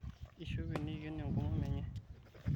ishope neiken enkomomo enye